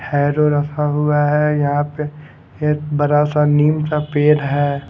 रखा हुआ है यहां पे ये बरा सा नीम का पेर है।